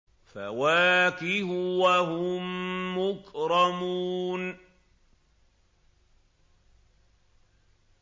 فَوَاكِهُ ۖ وَهُم مُّكْرَمُونَ